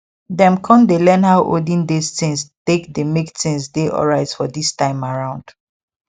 them con dey learn how olden days things take dey make things dey alright for this time around